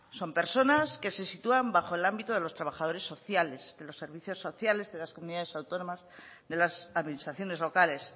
son personas que se sitúan bajo el ámbito de los trabajadores sociales de los servicios sociales de las comunidades autónomas de las administraciones locales